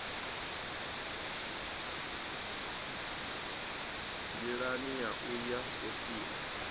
nḓilani ya u ya sophia